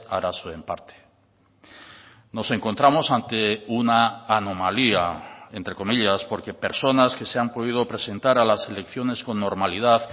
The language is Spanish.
arazoen parte nos encontramos ante una anomalía entre comillas porque personas que se han podido presentar a las elecciones con normalidad